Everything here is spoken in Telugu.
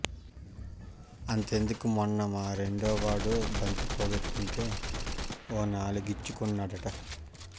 అంతెందుకు మొన్న మా రెండో వాడు బంతి పోగొట్టుకుంటే ఓ నాలిగిచ్చుకున్నాడట